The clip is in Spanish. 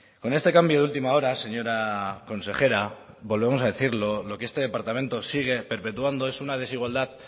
con este cambio de última hora señora consejera volvemos a decirlo lo que este departamento sigue perpetuando es una desigualdad